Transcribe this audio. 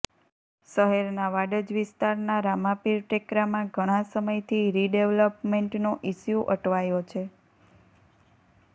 શહેરના વાડજ વિસ્તારના રામાપીર ટેકરામાં ઘણાં સમયથી રીડેવલપમેન્ટનો ઈશ્યુ અટવાયો છે